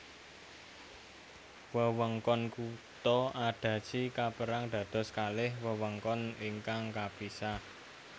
Wewengkon kutha Adachi kapérang dados kalih wewengkon ingkang kapisah